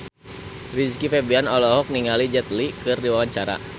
Rizky Febian olohok ningali Jet Li keur diwawancara